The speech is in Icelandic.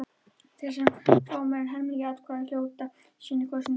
Þeir sem fá meira en helming atkvæða hljóta síðan kosningu.